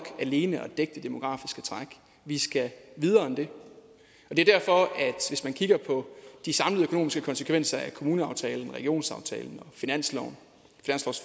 alene at dække det demografiske træk vi skal videre end det det er derfor at hvis man kigger på de samlede økonomiske konsekvenser af kommuneaftalen regionsaftalen